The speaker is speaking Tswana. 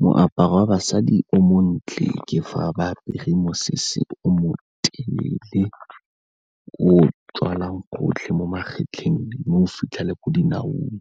Moaparo wa basadi o montle ke fa ba apere mosese o mo telele o o tswalang gotlhe mo magetleng mo o fitlhele ko dinaong,